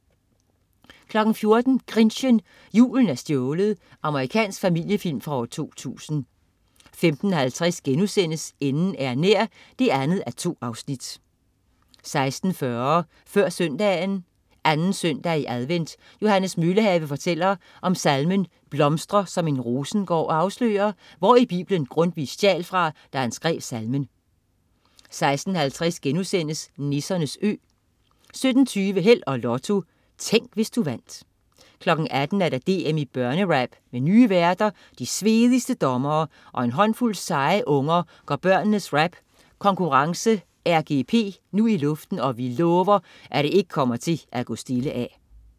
14.00 Grinchen. Julen er stjålet. Amerikansk familiefilm fra 2000 15.50 Enden er nær 2:2* 16.40 Før Søndagen. 2. søndag i advent. Johannes Møllehave fortæller om salmen "Blomstre som en rosengård", og afslører hvor i biblen Gundtvig stjal fra, da han skrev salmen 16.50 Nissernes Ø* 17.20 Held og Lotto. Tænk, hvis du vandt 18.00 DM i børnerap. Med nye værter, de svedigste dommere og en håndfuld seje unger går børnenes rap konkurrence, RGP nu i luften, og vi lover, at det ikke kommer til at gå stille af